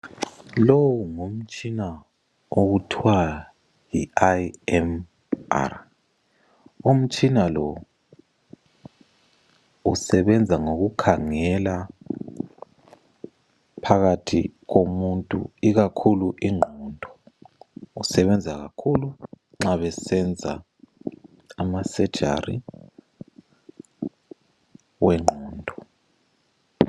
Lowu ngumtshina okuthwa yi IMR, umtshina lo usebenza ngoku khangela phakathi komuntu ikakhulu ingqondo, usebenza kakhulu nxa besenza ama sejari wengqondo.